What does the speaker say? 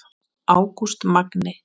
Ágúst Magni.